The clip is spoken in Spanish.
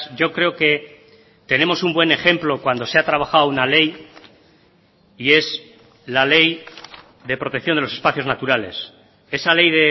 yo creo que tenemos un buen ejemplo cuando se ha trabajado una ley y es la ley de protección de los espacios naturales esa ley